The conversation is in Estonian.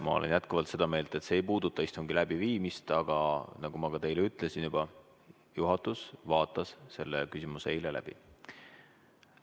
Ma olen jätkuvalt seda meelt, et see ei puuduta istungi läbiviimist, aga nagu ma teile juba ütlesin, juhatus vaatas selle küsimuse eile läbi.